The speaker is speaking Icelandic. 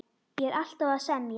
Ég er alltaf að semja.